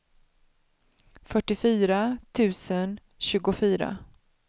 fyrtiofyra tusen tjugofyra